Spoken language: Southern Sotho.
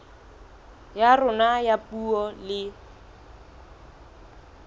ya rona ya puo le